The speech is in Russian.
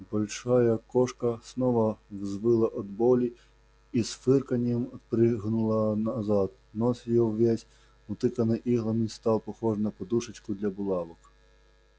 большая кошка снова взвыла от боли и с фырканьем отпрянула назад нос её весь утыканный иглами стал похож на подушку для булавок